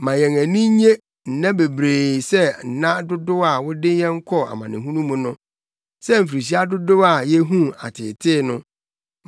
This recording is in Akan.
Ma yɛn ani nnye nna bebree sɛ nna dodow a wode yɛn kɔɔ amanehunu mu no, sɛ mfirihyia dodow a yehuu ateetee no.